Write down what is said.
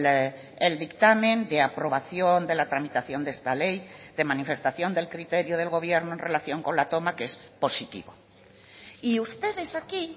el dictamen de aprobación de la tramitación de esta ley de manifestación del criterio del gobierno en relación con la toma que es positivo y ustedes aquí